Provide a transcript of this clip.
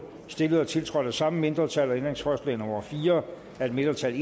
stillet og tiltrådt af samme mindretal og ændringsforslag nummer fire af et mindretal